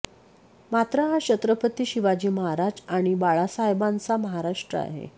मात्र हा छत्रपती शिवाजी महाराज आणि बाळासाहेबांचा महाराष्ट्र आहे